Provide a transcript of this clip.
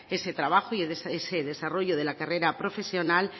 ese trabajo y ese desarrollo de la carrera profesional